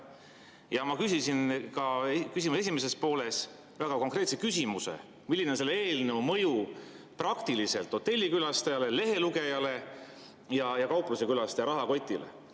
Ja ma küsisin küsimuse esimeses pooles ka väga konkreetse küsimuse: milline on selle eelnõu mõju praktiliselt hotellikülastaja, lehelugeja ja kauplusekülastaja rahakotile?